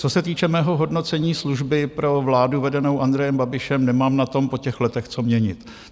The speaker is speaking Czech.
Co se týče mého hodnocení služby pro vládu vedenou Andrejem Babišem, nemám na tom po těch letech co měnit.